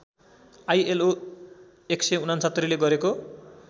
ILO १६९ ले गरेको